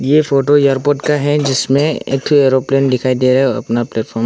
ये photo airport का है जिसमें एक ठो एरोप्लेन दिखाई दे रहा और अपना प्लेटफार्म --